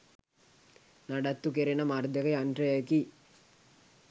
නඩත්තු කෙරෙන මර්ධක යන්ත්‍රයකි.